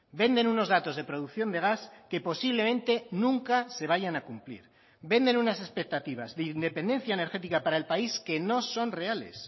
venden unos datos de producción de gas que posiblemente nunca se vayan a cumplir venden unas expectativas de independencia energética para el país que no son reales